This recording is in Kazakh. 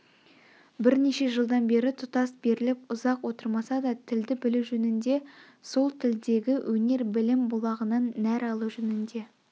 бірнеше жылдан бері тұтас беріліп ұзақ отырмаса да тілді білу жөнінде сол тілдегі өнер-білім бұлағынан нәр алу жөнінде